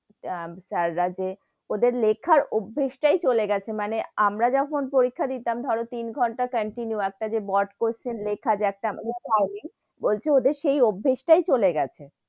আহ sir রা যে ওদের লেখার অভ্যেস তাই চলে গেছে, মানে আমরা যখন পরীক্ষা দিতাম ধরো তিন ঘন্টা continue একটা যে বড় question লেকের যে একটা বলছে ওদের সেই অভ্যেস তেই চলে গেছে,